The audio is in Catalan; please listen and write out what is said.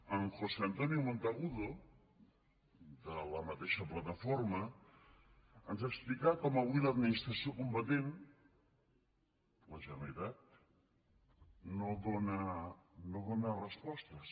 en josé antonio monteagudo de la mateixa plataforma ens explicà com avui l’administració competent la generalitat no dóna respostes